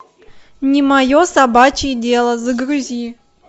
не мое собачье дело загрузи